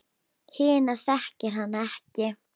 Hina þekkir hann ekki.